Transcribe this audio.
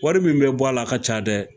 Wari min bɛ bɔ a la a ka ca dɛ